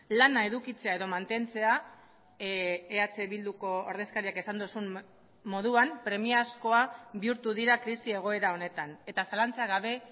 lana edukitzea edo mantentzea eh bilduko ordezkariak esan duzun moduan premiazkoa bihurtu dira krisi egoera honetan eta zalantza gabe